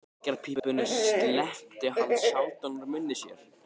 Reykjarpípunni sleppti hann sjaldan úr munni sér.